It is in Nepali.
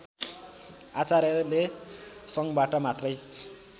आचार्यले सङ्घबाट मात्रै